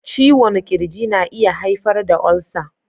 Ciwon ƙirji na iya haifar da ulcer.